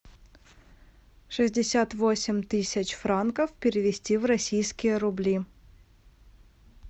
шестьдесят восемь тысяч франков перевести в российские рубли